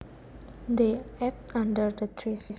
They ate under the trees